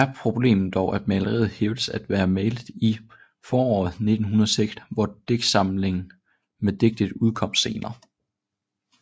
Her er problemet dog at maleriet hævdes at være malet i foråret 1906 hvor digtsamlingen med digtet udkom senere